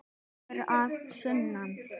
Sögur að sunnan.